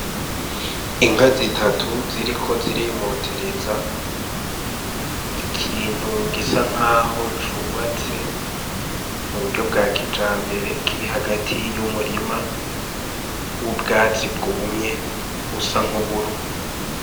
Inka zitatu ziriko zirimotereza ikintu gisa naho cubatse mu buryo bwa kijambere kiri hagati yu murima w'ubwatsi bwumye busa nk'uburo.